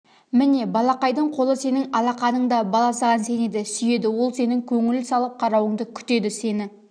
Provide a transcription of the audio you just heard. міне балақайдың қолы сенің алақаныңда бала саған сенеді сүйеді ол сенің көңіл салып қарауыңды күтеді сені